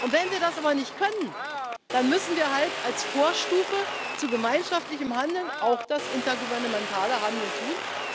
Wenn wir das aber nicht können, dann müssen wir halt als Vorstufe zu gemeinschaftlichem Handeln auch das intergouvernementale Handeln